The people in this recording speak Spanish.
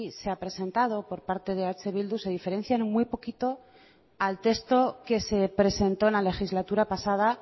se ha presentado por parte de eh bildu se diferencia en muy poquito al texto que se presentó en la legislatura pasada